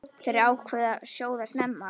Þær ákváðu að sjóða snemma.